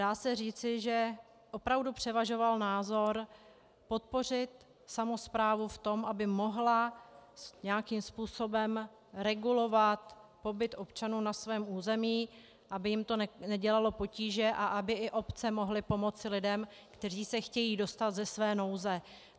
Dá se říci, že opravdu převažoval názor podpořit samosprávy v tom, aby mohly nějakým způsobem regulovat pobyt občanů na svém území, aby jim to nedělalo potíže a aby i obce mohly pomoci lidem, kteří se chtějí dostat ze své nouze.